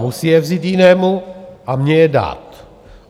Musí je vzít jinému a mně je dát.